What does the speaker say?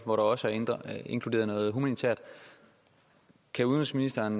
hvor der også er inddraget noget humanitært kan udenrigsministeren